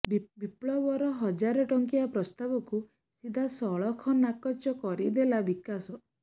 ବିପ୍ଲବର ହଜାରେ ଟଙ୍କିଆ ପ୍ରସ୍ତାବକୁ ସିଧା ସଳଖ ନାକଚ କରିଦେଲା ବିକାଶ